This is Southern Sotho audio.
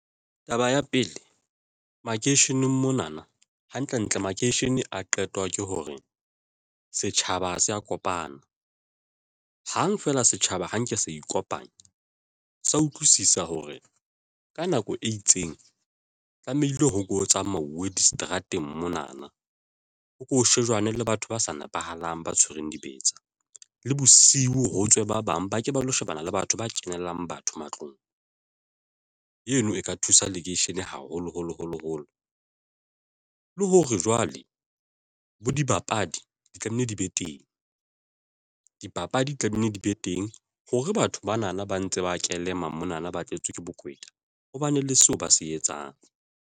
Taba ya pele makeisheneng mona na hantle ntle makeishene a qetwa ke hore setjhaba ha se ya kopana hang feela setjhaba ha nke sa ikopanya sa utlwisisa hore ka nako e itseng tlamehile ho tsamauwe diseterateng mona na, ho ko shejwa ne le batho ba sa nepahalang, ba tshwereng dibetsa le bosiu, ho tswe ba bang ba ke ba lo shebana le batho ba kenelang batho. matlong. Eno e ka thusa lekeishene haholo holo holo holo, le hore jwale bo dibapadi di tlamehile di be teng. Dipapadi di tlamehile di be teng hore batho bana na ba ntse ba kelema mona na ba tletse ke bokweta hobane le seo ba se etsang.